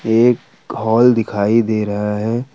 एक हॉल दिखाई दे रहा है।